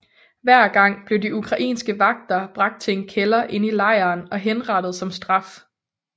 Hver gang blev de ukrainske vagter bragt til en kælder inde i lejren og henrettet som straf